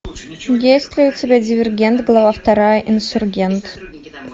есть ли у тебя дивергент глава вторая инсургент